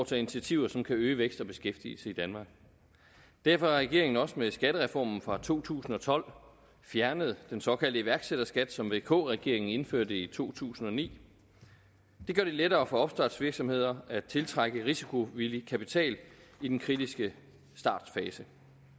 tage initiativer som vil øge vækst og beskæftigelse i danmark derfor har regeringen også med skattereformen fra to tusind og tolv fjernet den såkaldte iværksætterskat som vk regeringen indførte i to tusind og ni det gør det lettere for opstartsvirksomheder at tiltrække risikovillig kapital i den kritiske startfase